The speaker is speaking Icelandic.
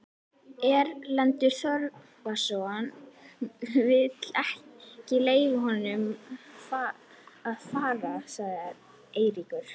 Erlendur Þorvarðarson vill ekki leyfa okkur að fara, sagði Eiríkur.